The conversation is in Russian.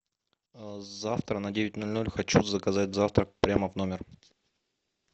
завтра на девять ноль ноль хочу заказать завтрак прямо в номер